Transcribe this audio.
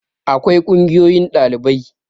akwai kungiyoyin ɗalibai